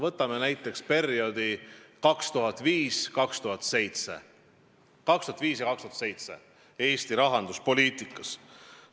Võtame perioodi 2005–2007 Eesti rahanduspoliitikas.